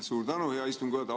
Suur tänu, hea istungi juhataja!